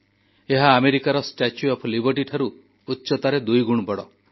ଏହା ଆମେରିକାର Statue of Liberty ଠାରୁ ଉଚ୍ଚତାରେ ଦୁଇଗୁଣ ବଡ଼